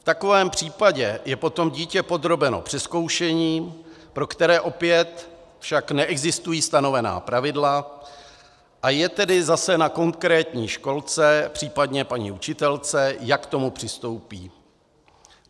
V takovém případě je potom dítě podrobeno přezkoušení, pro které opět však neexistují stanovená pravidla, a je tedy zase na konkrétní školce, případně paní učitelce, jak k tomu přistoupí.